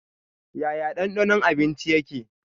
Yaya danɗanon abinci yake?